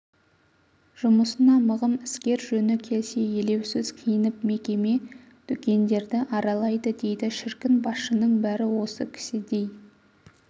жұмысына мығым іскер жөні келсе елеусіз киініп мекеме дүкендерді аралайды дейді шіркін басшының бәрі осы кісідей